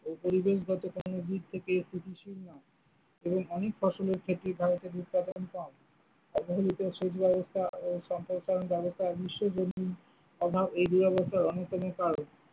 এই পরিবেশগত দিক থেকে এবং অনেক ফসলের ক্ষেত্রে ভারতের উৎপাদন কম অভাব এই দূরাবস্থার অন্যতম কারণ।